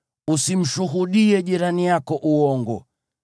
Usimshuhudie jirani yako uongo.